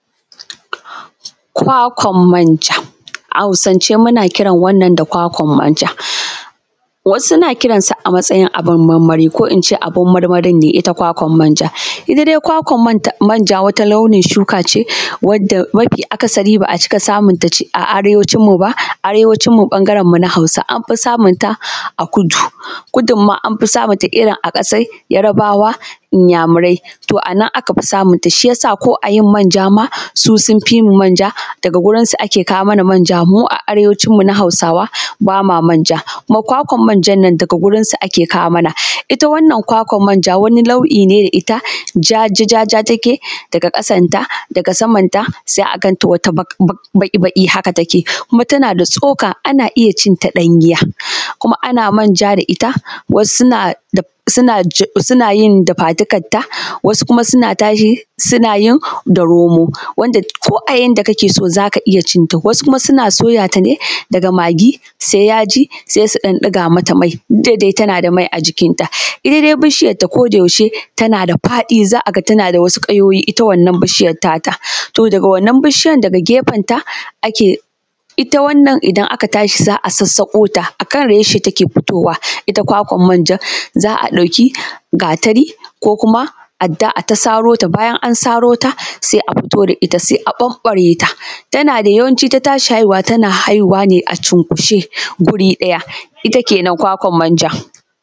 Kwakwan manja, a hausance muna kiran wannan da kwakwan manja, wasu na kiran sa a matsayin abun marmari ko ince abun marmarin ne ita kwakwar manjan. Ita dai kwakwan manja wata launin shuka ce, wadda mafi akasari ba a cika samun ta a arewacin mu ba, arewacin mu ɓangaren mu na hausawa, anfi samun ta a kudu, kudun ma anfi samun ta irin a ƙasar yarbawa, inyamurai, to anan aka fi samun ta. Shi yasa ma ko ayin manja ma, su sun fi mu manja ma daga gurun su ake kawo mana manja, mu a arewacin mu na hausawa bama manja kuma kwakwar manjan nan daga gurun su ake kawo mana, ita wannan kwakwar manja wani launi ne da ita, ja-ja-ja-ja take, daga ƙasan ta, daga saman ta sai a ganta wata baƙi-baƙi haka take, kuma tana da tsoka, ana iya cin ta ɗanya kuma ana manja da ita, wasu suna yin daga dukkan ta, wasu kuma suna tashi suna yin da romo, wanda ko a yanda kake so zaka iya cin ta, wasu kuma suna soya ta ne daga maggi sai yaji, sai su ɗan ɗiga mata mai duk da dai tana da mai ajikin ta. Ita dai bishiyar ta koda yaushe tana da faɗi, za a ga tana da wasu ƙayoyi ita wannan bishiyar ta ta, to daga wannan bishiyar daga gefen ta ake, ita wannan aka tashi za a sassauƙo ta, akan reshe take fitowa ita kwakwar manjan, za a ɗauki gatari ko kuma adda ayi ta saro ta, bayan an saro ta sai afito da ita sai a ɓanɓare ta, tana da yawancin ta tashi haihuwa, tana haihuwa ne a cunkushe guri ɗaya, ita kenan kwakwar manja.